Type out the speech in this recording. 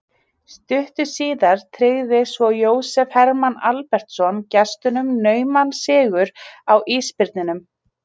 Stuttu síðar tryggði svo Jósef Hermann Albertsson gestunum nauman sigur á Ísbirninum.